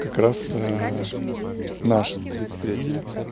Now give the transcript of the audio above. как раз наша тридцать третья